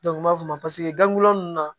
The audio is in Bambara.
u m'a f'o ma paseke gan gilanni na